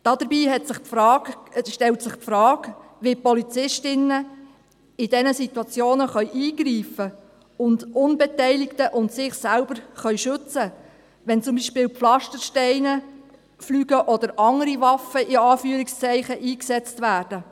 Dabei stellt sich die Frage, wie Polizistinnen und Polizisten in diesen Situationen eingreifen und Unbeteiligte und sich selbst schützen können, wenn zum Beispiel Pflastersteine fliegen oder andere – in Anführungszeichen – Waffen eingesetzt werden.